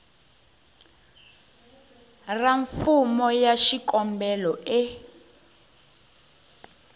ra fomo ya xikombelo e